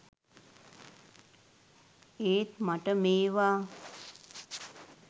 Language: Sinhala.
ඒත් මට මේවා